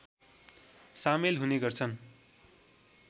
सामेल हुने गर्छन्